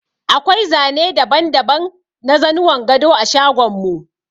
Akwai zane daban-daban na zanuwan gado a shagon mu.